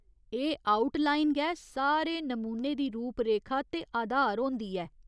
एह् outline गै सारे नमूने दी रूपरेखा ते आधार होंदी ऐ।